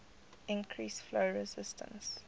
increase flow resistance